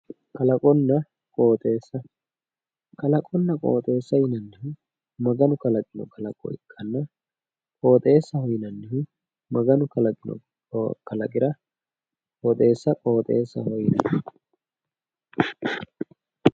kalaqonna qooxeessa kalaqonna qooxeessa yinannihu maganu kalaqino kalaqo ikkanna, qooxeessaho yinannihu maganu kalaqino kalaqira qoxeessa qoxeessaho yinanni.